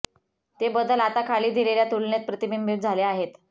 ते बदल आता खाली दिलेल्या तुलनेत प्रतिबिंबित झाले आहेत